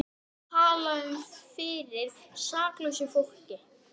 Einnig veit ég að margt hefur þú heyrt um mig.